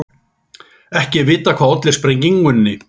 Ekki er vitað hvað olli sprengingunni